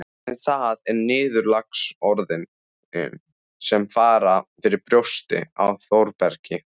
En það eru niðurlagsorðin sem fara fyrir brjóstið á Þórbergi